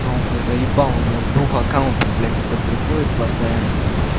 да он меня заебал у меня с двух аккаунтов блядь это приходит постоянно